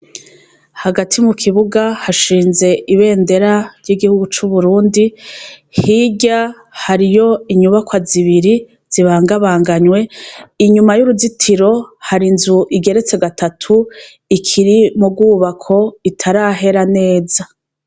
Hagati mu kibuga hashinze ibendera ry'igihugu c'Uburundi, hirya hariyo inyubakwa zibiri zibangabanganywe inyuma y'uruzitiro hari inzu igeretse gatatu ikiri mu rwubako itarahera neza.